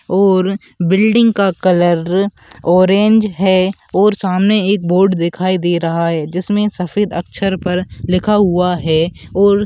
और बिल्डिंग का colour orange है और सामने एक बोर्ड दिखाई दे रहा है जिसमे सफ़ेद अक्षर पर लिखा हुआ है और--